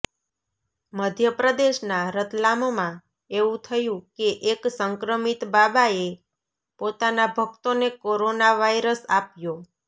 મધ્યપ્રદેશના રતલામમાં એવું થયું કે એક સંક્રમિત બાબાએ પોતાના ભક્તોને કોરોના વાયરસ આપ્યો